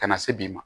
Ka na se bi ma